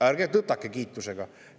Ärgem tõtakem kiitusega!